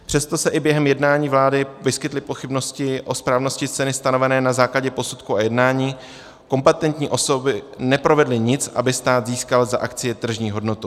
Přestože se i během jednání vlády vyskytly pochybnosti o správnosti ceny stanovené na základě posudku a jednání, kompetentní osoby neprovedly nic, aby stát získal za akcie tržní hodnotu.